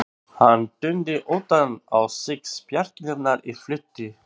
Hann týndi utan á sig spjarirnar í flýti.